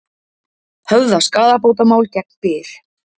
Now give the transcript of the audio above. Höfða skaðabótamál gegn Byr